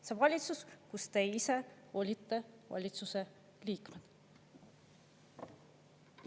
" See on valitsus, kus te ise olite valitsuse liikmed.